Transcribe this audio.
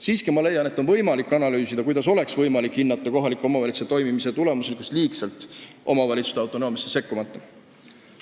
Siiski ma leian, et on võimalik analüüsida, kuidas saaks hinnata kohaliku omavalitsuse toimimise tulemuslikkust liigselt omavalitsuste autonoomiasse sekkumata.